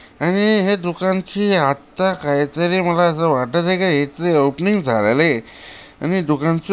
आणि आणि दुकानची आता काही तरी मला अस वाटत आहे की याच ओपनिंग झालेलं आहे आणि दुकानच--